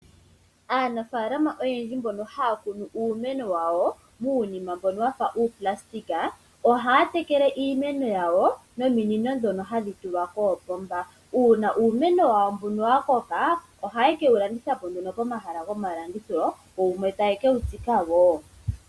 Aanafalama oyendji mbono haya kunu uumeno wayo munima mbono wafa uuplastic oha tekele iimeno yawo nominino dhono hadhi tulwa koopomba. Una uumeno wayo mbuno wa koka ohaye kewu landitha po pomahala gomalandithilo. Yo wumwe taye kewu tsika wo.